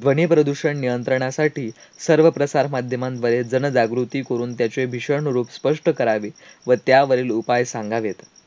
ध्वनीप्रदूषण नियंत्रणासाठी सर्वप्रसार माध्यमांन्वये जनजागृती करून त्याचे भीषण रूप स्पष्ट करावीत व त्यावरील उपाय सांगावेत.